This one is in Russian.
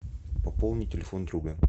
пополни телефон друга